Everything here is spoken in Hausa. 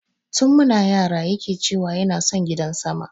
Tun muna yara yake ce wa yana son gidan sama